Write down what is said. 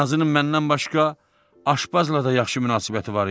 Nazının məndən başqa aşbazla da yaxşı münasibəti var idi.